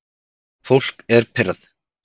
Fólk er pirrað